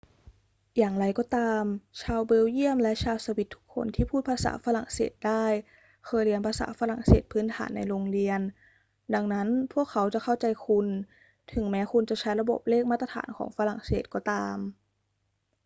อย่างไรก็ตาม ชาวเบลเยียมและชาวสวิสทุกคนที่พูดภาษาฝรั่งเศสได้เคยเรียนภาษาฝรั่งเศสพื้นฐานในโรงเรียน ดังนั้นพวกเขาจะเข้าใจคุณ ถึงแม้คุณจะใช้ระบบเลขมาตรฐานของฝรั่งเศสก็ตาม